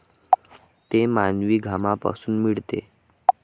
ते मानवी घामापासून मिळते.